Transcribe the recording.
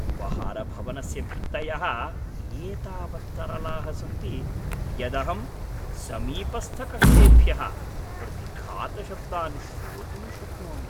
उपाहारभवनस्य भित्तयः एतावत्तरलाः सन्ति, यदहं समीपस्थकक्षेभ्यः प्रतिघातशब्दान् श्रोतुं शक्नोमि।